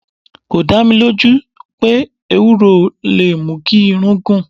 4. Kò dá mi lójú pé Ewúro lè mú kí irun gùn.